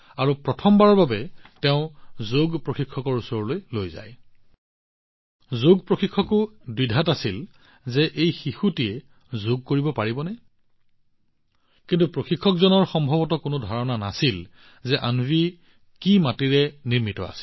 প্ৰথমবাৰৰ বাবে যেতিয়া তাই যোগ শিকোৱা প্ৰশিক্ষকৰ ওচৰলৈ গৈছিল প্ৰশিক্ষকো দ্বিধাগ্ৰস্ত হৈছিল আছিল যে এই নিষ্পাপ শিশুটোৱে যোগ কৰিব পাৰিবনে কিন্তু প্ৰশিক্ষকৰ ওচৰত সম্ভৱতঃ কোনো ধাৰণা নাছিল যে অন্বী কি মাটিৰে নিৰ্মিত আছিল